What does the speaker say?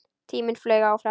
Tíminn flaug áfram.